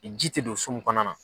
ji tɛ don so mun kɔnɔna na.